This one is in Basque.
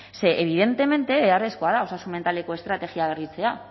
ze evidentemente beharrezkoa da osasun mentaleko estrategia berritzea